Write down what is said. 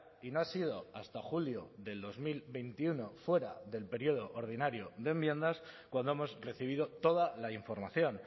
y no ha sido hasta julio del dos mil veintiuno fuera del periodo ordinario de enmiendas cuando hemos recibido toda la información